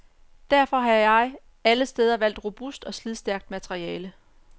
Derfor har jeg alle steder valgt robust og slidstærkt materiale.